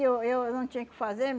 Eu eu eu não tinha o que fazer.